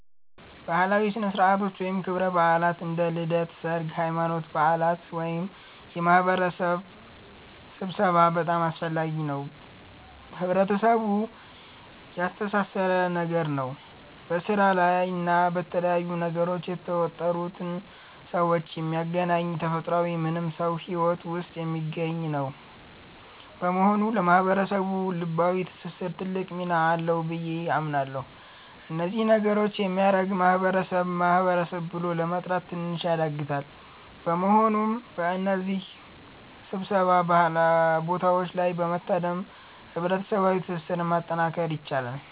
ባህላዊ ሥነ ሥርዓቶች ወይም ክብረ በዓላት (እንደ ልደት፣ ሠርግ፣ ሃይማኖታዊ በዓላት )ወይም የማህበረሰብ ስብሠባ በጣም አስፈላጊ እና ህብረተሰቡን ያስተሣሠረ ነገር ነው። በስራ እና በተለያዩ ነገሮች የተወጠሩን ሠዎች የሚያገናኝ ተፈጥሯዊ ማንም ሠው ሂወት ውስጥ የሚገኝ ነገር ነው። በመሆኑ ለህብረተሰቡ ልባዊ ትስስር ትልቅ ሚና አለው ብዬ አምናለሁ። እነዚህ ነገሮች የሚያደርግ ማህበረሰብ ማህበረሰብ ብሎ ለመጥራት ትንሽ ያዳግታል። በመሆኑም በእነዚህ ሥብሰባ ቦታዎች ላይ በመታደም ህብረሠባዋ ትስስርን ማጠናከር ይቻላል።